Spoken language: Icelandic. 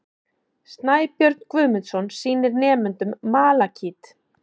Snæbjörn Guðmundsson sýnir nemendum malakít.